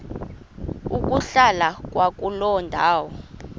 ukuhlala kwakuloo ndawo